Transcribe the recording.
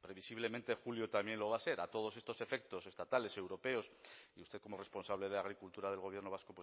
previsiblemente julio también lo va a ser a todos estos efectos estatales europeos y usted como responsable de agricultura del gobierno vasco